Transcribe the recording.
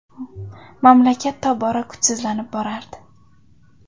Mamlakat tobora kuchsizlanib borardi.